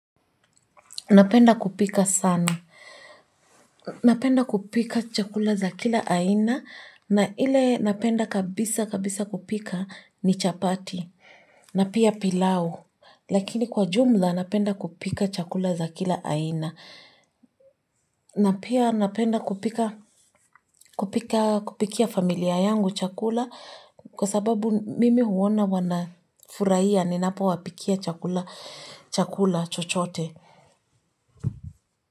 Napenda kupika sana. Napenda kupika chakula za kila aina. Na ile napenda kabisa kabisa kupika ni chapati. Napia pilau. Lakini kwa jumla napenda kupika chakula za kila aina. Napia napenda kupika kupikia familia yangu chakula. Kwa sababu mimi huona wana furahia ninapo wapikia chakula chochote.